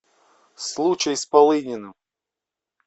случай с полыниным